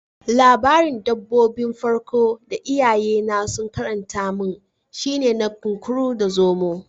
Labarin dabbobi 'n farko da iyaye na sun karanta mun shine na Kunkuru da Zomo.